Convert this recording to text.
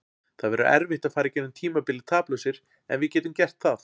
Það verður erfitt að fara í gegnum tímabilið taplausir en við getum gert það.